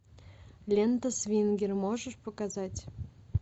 лента свингер можешь показать